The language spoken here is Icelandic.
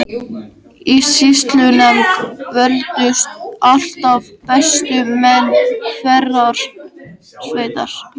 Í sýslunefnd völdust alltaf bestu menn hverrar sveitar.